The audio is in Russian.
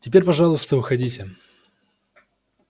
теперь пожалуйста уходите